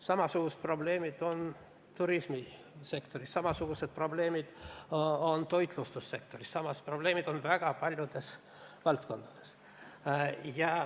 Samasugused probleemid on ka turismisektoris, samasugused probleemid on toitlustussektoris, samasugused probleemid on väga paljudes teisteski valdkondades.